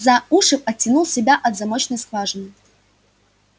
за уши оттянул себя от замочной скважины